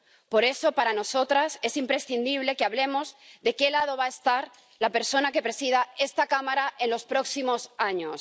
Por eso, para nosotras es imprescindible que hablemos de qué lado va a estar la persona que presida esta Cámara en los próximos años.